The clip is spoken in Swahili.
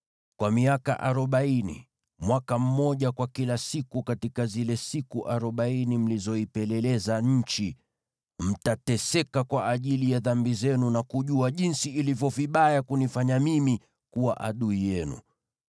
Kwa miaka arobaini, mwaka mmoja kwa kila siku katika zile siku arobaini mlizoipeleleza nchi, mtateseka kwa ajili ya dhambi zenu, na kujua jinsi ilivyo vibaya kunifanya mimi kuwa adui yenu.’